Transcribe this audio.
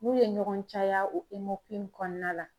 N'u ye ɲɔgɔn caya o tɔnkukuti kɔnɔna la